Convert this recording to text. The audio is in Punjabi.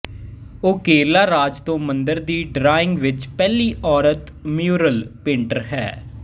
ਉਹ ਕੇਰਲਾ ਰਾਜ ਤੋਂ ਮੰਦਰ ਦੀ ਡਰਾਇੰਗ ਵਿੱਚ ਪਹਿਲੀ ਔਰਤ ਮਯੂਰਲ ਪੇਂਟਰ ਹੈ